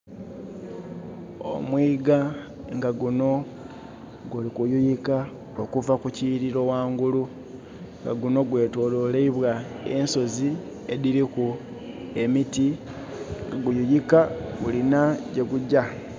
Omwiga nga gunho guli kuyiyika okuva ku kiyirilo ghaigulu nga gunho gwetololeibwa ensozi edhiriku emiti nga guyiyika gulinha ye gugya.